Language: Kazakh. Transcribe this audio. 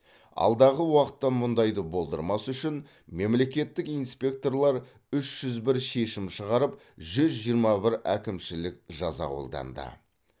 алдағы уақытты мұндайды болдырмас үшін мемлекеттік инспекторлар үш жүз бір шешім шығарып жүз жиырма бір әкімшілік жаза қолданды